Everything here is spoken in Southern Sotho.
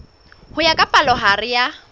ho ya ka palohare ya